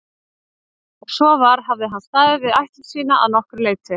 Ef svo var hafði hann staðið við ætlun sína að nokkru leyti.